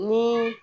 Ni